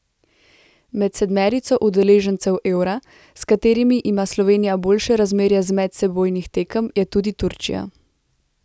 Med sedmerico udeležencev Eura, s katerimi ima Slovenija boljše razmerje z medsebojnih tekem, je tudi Turčija.